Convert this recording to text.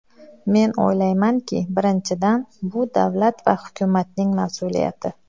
Men o‘ylaymanki, birinchidan, bu davlat va hukumatning mas’uliyati.